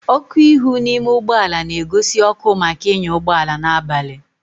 ọkụ ihu n'ime ụgbọ ala na-egosi ọkụ maka ịnya ụgbọ ala n'abali